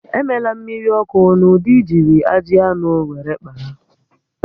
Emela mmiri ọkụ n'ụdị ijiri ajị anụ were kpaa